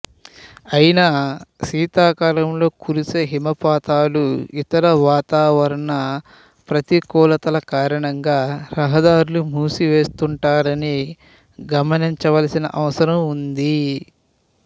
అయినా శీతాకాలంలో కురిసే హిమపాతాలు ఇతర వాతావరణ ప్రతికూలతల కారణంగా ర్హదార్లు మూసి వేస్తుంటారని గమినించవలసిన అవసరం ఉంది